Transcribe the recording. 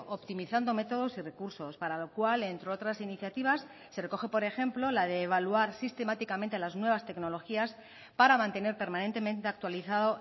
optimizando métodos y recursos para lo cual entre otras iniciativas se recoge por ejemplo la de evaluar sistemáticamente las nuevas tecnologías para mantener permanentemente actualizado